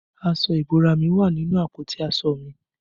Aṣọ ìbora mi wà nínú àpótí aṣọ mi